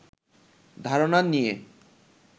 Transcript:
ধারণা নিয়ে